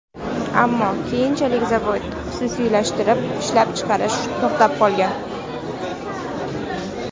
Ammo keyinchalik zavod xususiylashtirilib, ishlab chiqarish to‘xtab qolgan.